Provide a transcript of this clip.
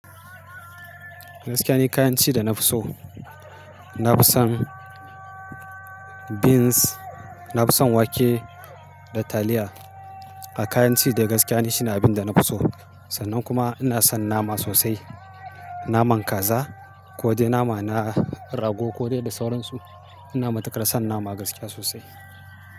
Gaskiya ni kayan ci da na fi so, na fi son beans, na fi son wake da taliya. A kayan ci da gaskiya ni shine abin da na fi so. Sannan kuma ina son nama sosai, naman kaza ko dai nama na rago ko dai da sauransu. Ina matuƙar son nama gaskiya sosai.